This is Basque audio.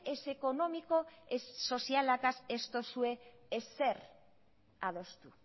ez ekonomiko ez sozialataz ez dozue ezer adostu